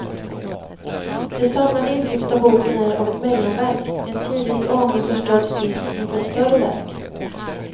Det samlade intrycket av boken är av ett mellanverk, en tidvis aningen förströdd skiss inför ett större verk.